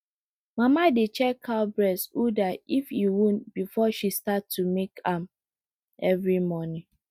mama dey check cow breast udder if e wound before she start to milk am every morning